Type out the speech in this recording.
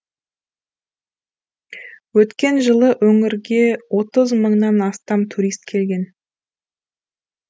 өткен жылы өңірге отыз мыңнан астам турист келген